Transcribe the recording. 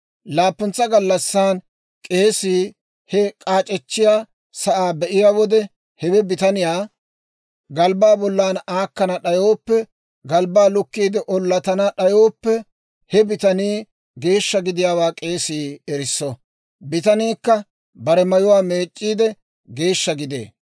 Laappuntsa gallassan k'eesii he k'aac'echchiyaa sa'aa be'iyaa wode; hewe bitaniyaa galbbaa bollan aakkana d'ayooppe galbbaa lukkiide ollatana d'ayooppe, he bitanii geeshsha gidiyaawaa k'eesii erisso. Bitaniikka bare mayuwaa meec'c'iide, geeshsha gidee.